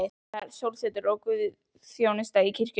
Það var sólsetur og guðsþjónusta í kirkjunni.